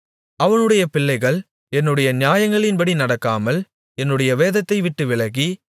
அவனுடைய பிள்ளைகள் என்னுடைய நியாயங்களின்படி நடக்காமல் என்னுடைய வேதத்தை விட்டு விலகி